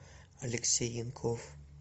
алексей янков